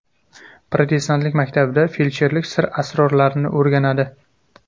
Protestantlik maktabida feldsherlik sir asrorlarini o‘rganadi.